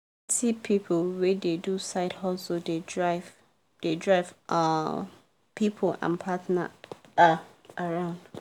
see plenty people wey dey do side hustle dey drive dey drive um people and partner um around